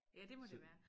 Ja det må det være